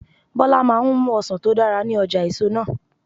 Bọlá máa ń mú ọsàn tó dára ní ọjà èso náà.